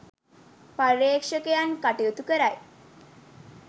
පර්යේෂකයන් කටයුතු කරයි